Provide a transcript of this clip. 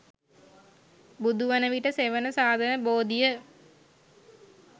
බුදුවන විට සෙවණ සදන බෝධිය